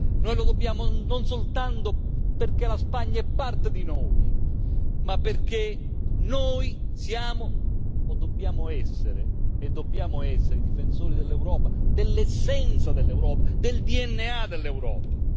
Noi lo dobbiamo non soltanto perché la Spagna è parte di noi, ma perché noi siamo o dobbiamo essere i difensori dell'Europa, dell'essenza dell'Europa, del DNA dell'Europa.